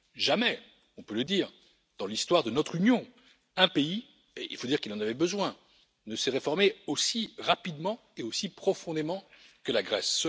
Jamais, on peut le dire, dans l'histoire de notre Union, un pays et il faut dire qu'il en avait besoin ne s'est réformé aussi rapidement et aussi profondément que la Grèce.